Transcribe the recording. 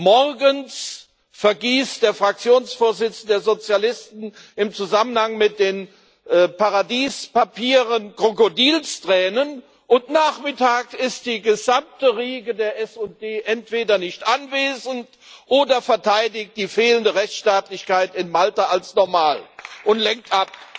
Morgens vergießt der Fraktionsvorsitzende der Sozialisten im Zusammenhang mit den Paradiespapieren Krokodilstränen, und nachmittags ist die gesamte Riege der SD entweder nicht anwesend oder verteidigt die fehlende Rechtsstaatlichkeit in Malta als normal und lenkt ab.